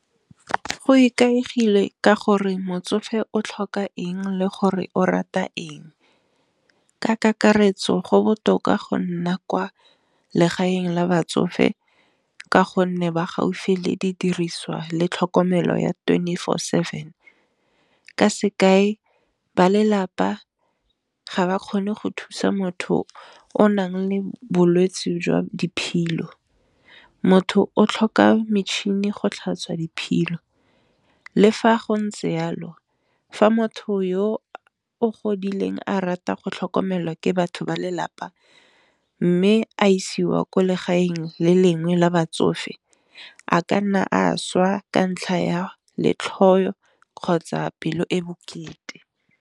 Go ikaegile ka gore motsofe o tlhoka eng le gore o rata eng, ka kakaretso go botoka go nna kwa legaeng la batsofe ka gonne ba gaufi le di diriswa le tlhokomelo ya twenty four seven ka sekae ba lelapa ga ba kgone go thusa motho o nang le bolwetse jwa diphilo, motho o tlhoka metšhini go tlhatswa diphilo le fa go ntse yalo fa motho yo o godileng a rata go tlhokomelwa ke batho ba lelapa, mme a isiwa ko legaeng le lengwe la batsofe a ka nna a šwa ka ntlha ya letlho kgotsa pelo e bokete.